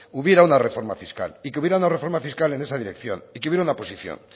hubiera una reforma fiscal y que hubiera una reforma fiscal en esa dirección y que hubiera una posición